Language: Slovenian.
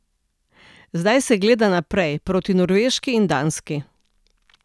Zdaj se gleda naprej, proti Norveški in Danski.